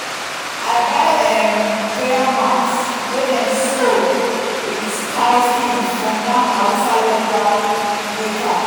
i buy um prayer mat wey dem sew with cow skin from one hausa leather maker.